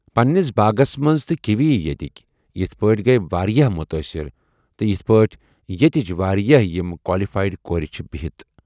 پننس باغس منٛز تہٕ کیٖوی ییٚتیکۍ یتھ پٲٹھۍ گٔے واریاہ مُتٲثر تہِ یتھ پٲٹھۍ ییٚتیچۍ واریاہ یم کالفایڈ کورِ چھِ بہتھ